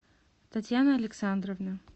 татьяна александровна